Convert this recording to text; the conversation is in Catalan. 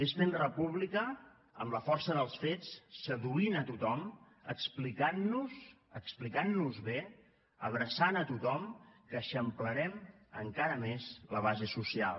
és fent república amb la força dels fets seduint a tothom explicant nos explicant nos bé abraçant a tothom que eixamplarem encara més la base social